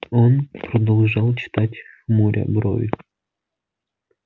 он продолжал читать хмуря брови